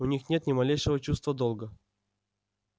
у них нет ни малейшего чувства долга